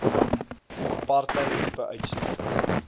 apartheid tipe uitsluiting